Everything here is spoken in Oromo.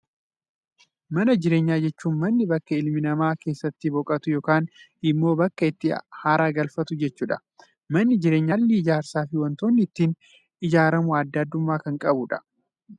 Mana jireenyaa jechuun, mana bakka ilmi namaa keessatti boqotu yookaan immoo bakka itti haara galfatu jechuudha. Manni jireenyaa kunis haalli ijaarsa fi waantotni inni ittiin ijaaramu addaa addummaa kan qabuudha.